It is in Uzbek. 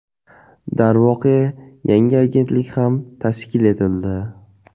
Darvoqe, yangi agentlik ham tashkil etildi.